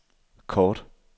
kort